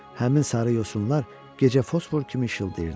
Həmin sarı yosunlar gecə fosfor kimi işıldayırdı.